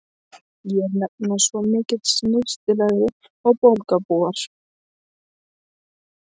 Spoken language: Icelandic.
Ég er nefnilega svo miklu snyrtilegri en borgarbúar.